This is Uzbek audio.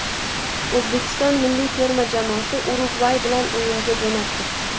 O‘zbekiston milliy terma jamoasi Urugvay bilan o‘yinga jo‘nab ketdi.